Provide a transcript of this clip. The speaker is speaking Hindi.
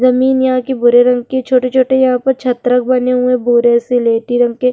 लड़कियों को कुछ उपहार बांट रही है इनके पीछे एक दीवार --